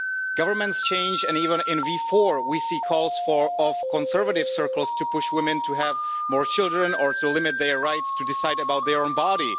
Governments change and even in the Visegrad Group we see calls from conservative circles to push women to have more children or to limit their rights to decide about their own body.